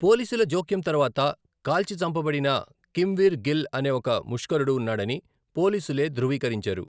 పోలీసుల జోక్యం తర్వాత,' కాల్చి చంపబడిన కిమ్వీర్ గిల్ అనే ఒక ముష్కరుడు ఉన్నాడని పోలీసులే ధృవీకరించారు.